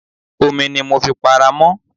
Omi ni mo fi para mọ́.